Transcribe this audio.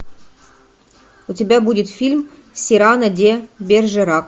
у тебя будет фильм сирано де бержерак